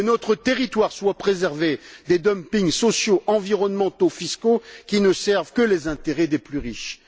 Que notre territoire soit préservé des dumpings sociaux, environnementaux et fiscaux, qui ne servent que les intérêts des plus riches.